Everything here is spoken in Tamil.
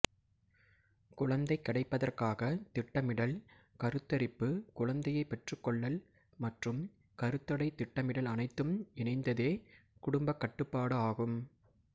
குழந்தை கிடைப்பதற்காகத் திட்டமிடல் கருத்தரிப்பு குழந்தையைப் பெற்றுக்கொள்ளல் மற்றும் கருத்தடை திட்டமிடல் அனைத்தும் இணைந்ததே குடும்பக் கட்டுப்பாடு ஆகும்